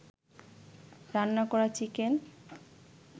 রান্না করা চিকেন